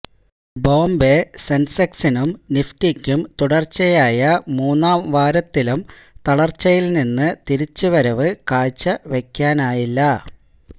ബോംബെ സെന്സെക്സിനും നിഫ്റ്റിക്കും തുടര്ച്ചയായ മൂന്നാം വാരത്തിലും തളര്ച്ചയില് നിന്ന് തിരിച്ചുവരവ് കാഴ്ച വെക്കാനായില്ല